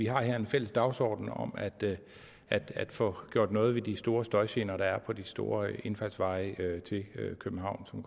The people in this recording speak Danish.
har en fælles dagsorden om at at få gjort noget ved de store støjgener der er fra de store indfaldsveje til københavn som